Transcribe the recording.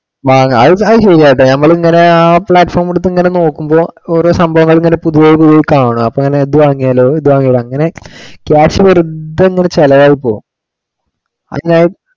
ആഹ് അത് ശരിയാ കേട്ടോ, നമ്മളിങ്ങനെ ആ platform എടുത്തു ഇങ്ങനെ നോമ്പോ ഓരോ സംഭവങ്ങൾ ഇങ്ങനെ പുതിയെ പുതിയെ കാണും അപ്പൊ ഇങ്ങനെ അത് വാങ്ങിയാലോ ഇത് വാങ്ങിയാലോ അങ്ങിനെ cash വരും പിന്നെ അങ്ങോട്ട് ചിലവായി പോകും. അതിപ്പോ ആ